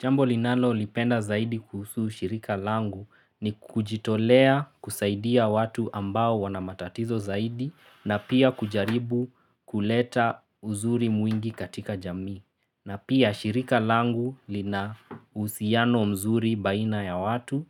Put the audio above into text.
Jambo linalo lipenda zaidi kuhusu shirika langu ni kujitolea kusaidia watu ambao wana matatizo zaidi na pia kujaribu kuleta uzuri mwingi katika jamii. Na pia shirika langu lina uhusiano mzuri baina ya watu